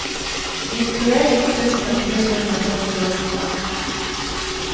nittioett tusen trehundrafyrtioåtta